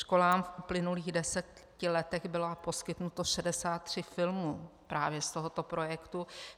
Školám v uplynulých deseti letech bylo poskytnuto 63 filmů právě z tohoto projektu.